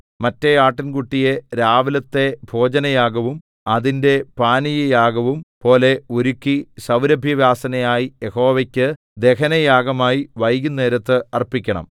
മറ്റെ ആട്ടിൻകുട്ടിയെ രാവിലത്തെ ഭോജനയാഗവും അതിന്റെ പാനീയയാഗവും പോലെ ഒരുക്കി സൗരഭ്യവാസനയായി യഹോവയ്ക്ക് ദഹനയാഗമായി വൈകുന്നേരത്ത് അർപ്പിക്കണം